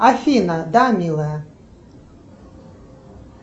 афина да милая